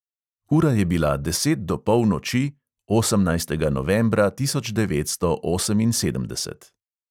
Ura je bila deset do polnoči, osemnajstega novembra tisoč devetsto oseminsedemdeset.